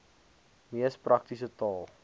mees praktiese taal